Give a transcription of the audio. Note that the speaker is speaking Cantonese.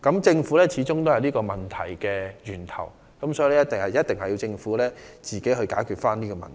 政府始終是這些問題的源頭，所以政府必須自己解決問題。